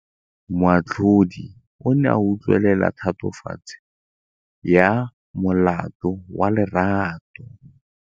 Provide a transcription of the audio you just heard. Moatlhodi o ne a utlwelela tatofatsô ya molato wa Lerato.